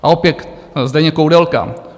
A opět Zdeněk Koudelka.